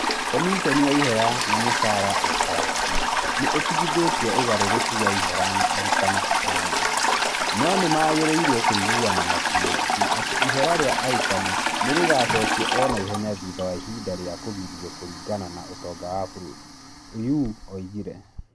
"Komichoni ya ihera na mũcaara SRC nĩ ĩtigithĩĩtie ũgarũrũku wa ihera na arutani ti a mwanya, no nĩ magĩrĩirwo kũiguana na TSC atĩ ihera rĩa arutani nĩ rĩgaacokio o na ihenya thutha wa ihinda rĩa kũgirio kũringana na ũtonga wa bũrũri", Oyuu oigire.